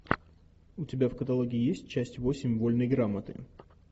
у тебя в каталоге есть часть восемь вольной грамоты